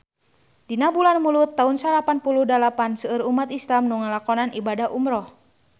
Dina bulan Mulud taun salapan puluh dalapan seueur umat islam nu ngalakonan ibadah umrah